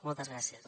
moltes gràcies